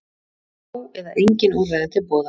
Fá eða engin úrræði til boða